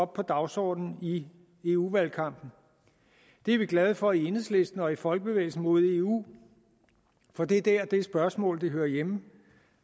på dagsordenen i eu valgkampen det er vi glade for i enhedslisten og i folkebevægelsen mod eu for det er dér det spørgsmål hører hjemme